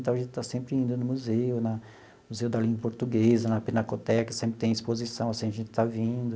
Então, a gente está sempre indo no museu, na Museu da Língua Portuguesa, na Pinacoteca, sempre tem exposição, sempre a gente está vindo.